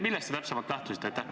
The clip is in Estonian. Millest te täpselt lähtusite?